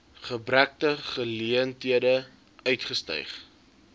beperkte geleenthede uitgestyg